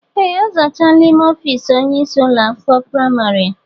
Ee, ọ zachaala ímé ọfiisi onye ịsị ụlọ akwụkwọ praịmarị a.